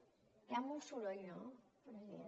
hi ha molt soroll no president